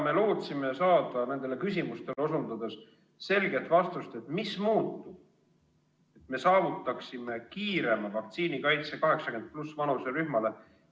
Me lootsime saada nendele küsimustele osutades selget vastust, mis muutub, et me saavutaksime kiirema vaktsiinikaitse 80+ vanuserühmale.